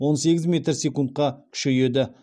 он сегіз метр секундқа күшейеді